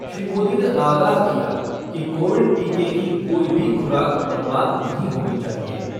श्री मोदी ने आगाह किया कि कोविड टीके की कोई भी खुराक बर्बाद नहीं होनी चाहिए।